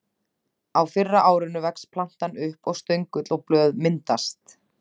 Á fyrra árinu vex plantan upp og stöngull og blöð myndast.